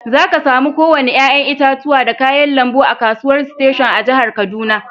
Zaka samu ko wanni yayan itatuwa da kayan lambu a'kasuwan station a'jihar Kaduna.